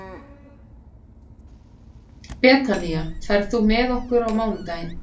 Betanía, ferð þú með okkur á mánudaginn?